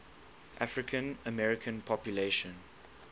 african american population